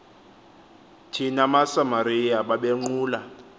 thina masamariya babenqula